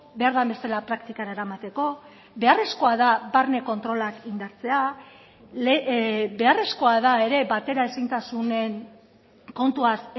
behar den bezala praktikara eramateko beharrezkoa da barne kontrolak indartzea beharrezkoa da ere bateraezintasunen kontuaz